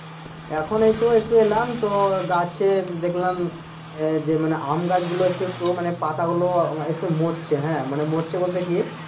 এখন তো এই একটু এলাম তো গাছে দেখলাম এ যে আম গাছগুলো একটু একটু পাতা গুলো মরছে হ্যাঁ মানে মরছে বলতে কি?